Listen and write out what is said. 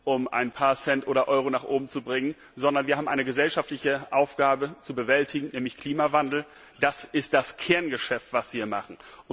um ein paar Cents oder Euro nach oben gebracht werden soll, sondern wir haben eine gesellschaftliche Aufgabe zu bewältigen, nämlich Klimawandel. Das ist das Kerngeschäft, was wir machen!